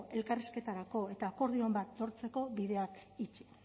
elkarrizketarako eta akordioren bat lortzeko bideak itxi